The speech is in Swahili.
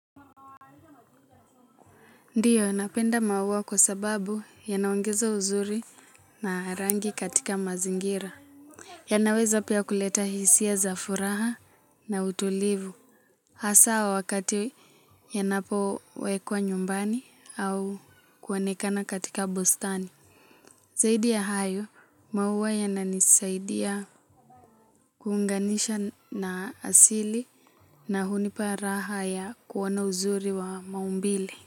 Ndiyo, napenda maua kwa sababu yanaongeza uzuri na rangi katika mazingira. Yanaweza pia kuleta hisia za furaha na utulivu. Asa wakati yanapowekwa nyumbani au kuonekana katika bustani. Zaidi ya hayo, maua yananisaidia kuunganisha na asili na hunipa raha ya kuona uzuri wa maumbile.